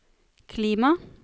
klima